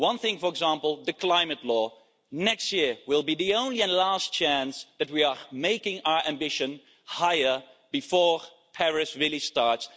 One thing, for example the climate law, next year will be the only and last chance where we can make our ambition higher before Paris really starts.